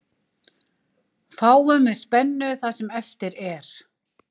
Fáum við spennu það sem eftir er.